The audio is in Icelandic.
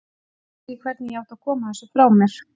Ég vissi ekki hvernig ég átti að koma þessu frá mér.